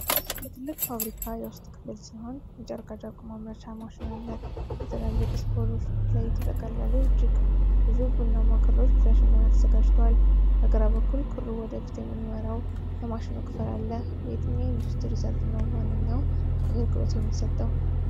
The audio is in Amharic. የትልቅ ፋብሪካ የውስጥ ክፍል ሲሆን የጨርቃጨርቅ ማምረቻ ማሽን አለ። በትላልቅ ስፖሎች ላይ የተጠቀለሉ እጅግ ብዙ ቡናማ ክሮች ለሽመና ተዘጋጅተዋል። በግራ በኩል ክሩን ወደ ፊት የሚመራው የማሽኑ ክፍል አለ። በየትኛው የኢንዱስትሪ ዘርፍ ነው ዋነኛውን አገልግሎት የሚሰጠው?